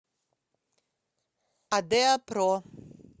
адеопро